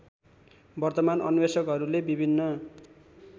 वर्तमान अन्वेषकहरूले विभिन्न